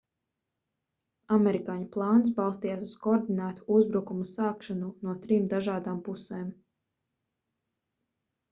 amerikāņu plāns balstījās uz koordinētu uzbrukumu sākšanu no trim dažādām pusēm